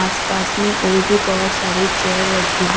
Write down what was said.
आस पास में और भी बहोत सारे चेयर रखी--